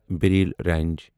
Braille range